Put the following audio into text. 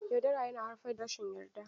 Yaudara yana haifar da rashin yarda.